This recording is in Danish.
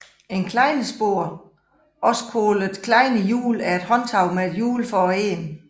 Klejnespore også kaldet Klejnehjul er et håndtag med et hjul for enden